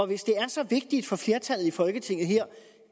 hvis det er så vigtigt for flertallet i folketinget her